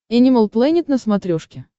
энимал плэнет на смотрешке